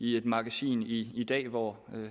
i et magasin i i dag hvor